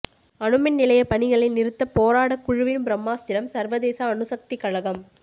அணுமின் நிலைய பணிகளை நிறுத்த போராடக்குழுவின் பிரம்மாஸ்திரம் சர்வதேச அணுசக்தி கழகம்